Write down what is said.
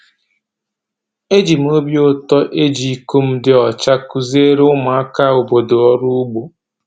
E ji m obi ụtọ eji iko m dị ọcha kuziere ụmụaka obodo ọrụ ugbo.